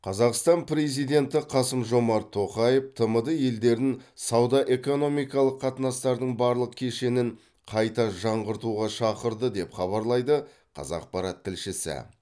қазақстан президенті қасым жомарт тоқаев тмд елдерін сауда экономикалық қатынастардың барлық кешенін қайта жаңғыртуға шақырды деп хабарлайды қазақпарат тілшісі